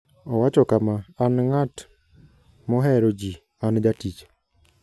Owacho kama: "An ng'at mohero ji; an jatich.